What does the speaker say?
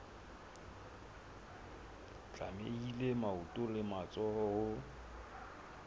tlamehile maoto le matsoho ho